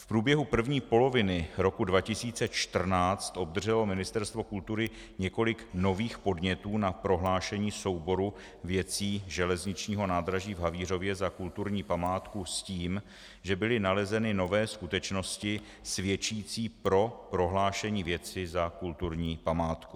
V průběhu první poloviny roku 2014 obdrželo Ministerstvo kultury několik nových podnětů na prohlášení souboru věcí železničního nádraží v Havířově za kulturní památku s tím, že byly nalezeny nové skutečnosti svědčící pro prohlášení věci za kulturní památku.